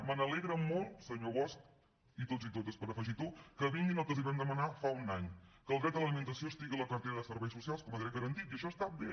m’alegra molt senyor bosch i tots i totes per afegitó que vinguin al que els vam demanar fa un any que el dret a l’alimentació estigui a la cartera de serveis socials com a dret garantit i això està bé